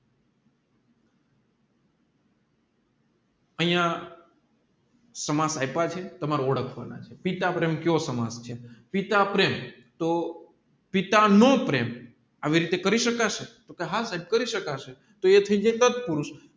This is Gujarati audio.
આયા સમાસ આયપ છે તમારે ઓઢાકવાના પિતા પ્રેમ કયો સામાએ છે પિતા પ્રેમ તોહ પિતા નો પ્રેમ અવિદ રીતે કરી શકાશે આ સાહેબ કરી શખ્સે તો એ થયી જાય સત્પુરુષ